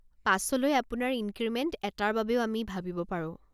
পাছলৈ আপোনাৰ ইনক্ৰিমেণ্ট এটাৰ বাবেও আমি ভাবিব পাৰোঁ।